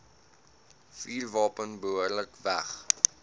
vuurwapen behoorlik weg